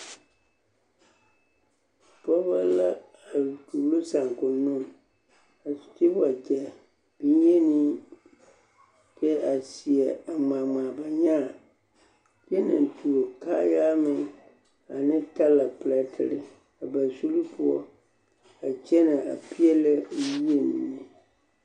Pɔɔbɔ la a tuuro saakonnoo a de waɡyɛ bonyeni a seɛ ŋmaa ba nyaa kyɛ naŋ tuo kaayaa meŋ ane talaperɛtere a ba zuri poɔ a kyɛnɛ a peɛlɛ yie mine.